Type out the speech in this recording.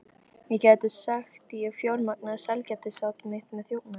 Ég gæti sagt, ég fjármagnaði sælgætisát mitt með þjófnaði.